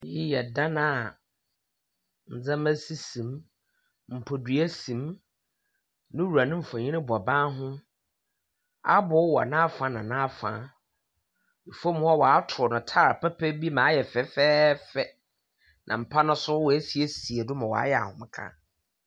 Iyi yɛ dan a ndzɛmba sisi mu, mpadua si mu, no wura no mfonyin bɔ ban ho, famu hɔ wɔatow no tile papa bi ma ayɛ fɛfɛɛfɛ, na mpa no so woesiesie do ma ɔayɛ ahomka.